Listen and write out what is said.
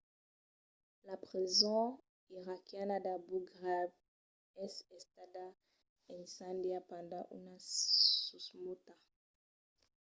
la preson iraquiana d’abu ghraib es estada incendiada pendent una susmauta